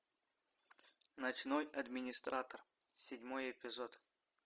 ночной администратор седьмой эпизод